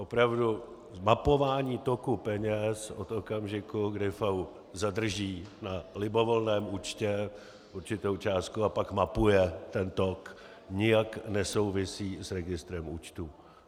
Opravdu mapování toku peněz od okamžiku, kdy FAÚ zadrží na libovolném účtu určitou částku a pak mapuje ten tok, nijak nesouvisí s registrem účtů.